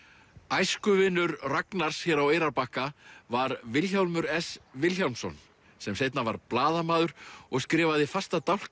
æskuvinur Ragnars hér á Eyrarbakka var Vilhjálmur s Vilhjálmsson sem seinna varð blaðamaður og skrifaði fasta dálka